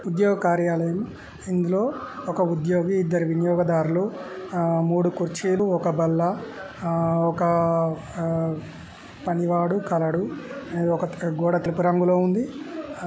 ఉద్యోగ కార్యాలయం ఇందులో ఒక ఉద్యోగి ఇద్దరు వినియోగదారులు ఆ మూడు కుర్చీలు ఒక బల్ల ఆ ఒక ఆ పనివాడు కలడు ఇది ఒక గోడ తెలుపు రంగులో ఉంది.